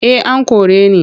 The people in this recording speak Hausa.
Eh an kore ni.